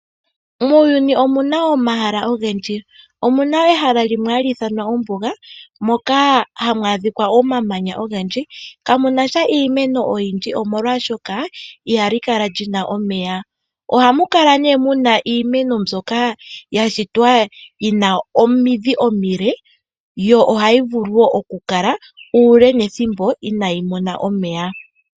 Muuyuni omuna omahala ogendji, omuna ehala limwe hali ithanwa ombuga, moka hamu adhika omamanya ogendji kamuna sha iimeno oyindji omolwaashoka ihali kala lina omeya. Ohamu kala iimeno mbyoka ya shitwa yina omidhi omile yo ohayi vulu wo oku kala uule nethimbo inayi mona omeya.